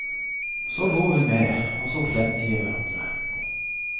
Så lo hun med, og så klemte vi hverandre.